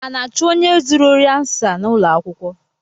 A na-achụ onye zuru ori ansa n’ụlọakwụkwọ?